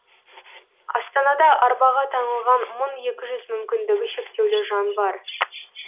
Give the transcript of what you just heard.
астанада арбаға таңылған мың екі жүз мүмкіндігі шектеулі жан бар